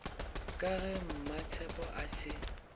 ka ge mmatshepo a se